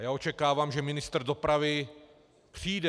A já očekávám, že ministr dopravy přijde.